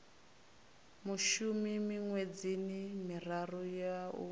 mushumi miṅwedzini miraru ya u